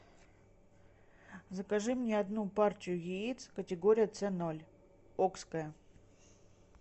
закажи мне одну партию яиц категория ц ноль окское